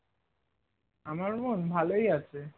আমার বোন ভালোই আছে